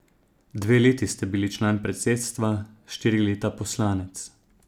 Dve leti ste bili član predsedstva, štiri leta poslanec.